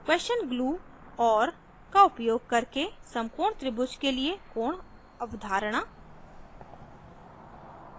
question glue or का उपयोग करके समकोण त्रिभुज के लिए कोण अवधारणा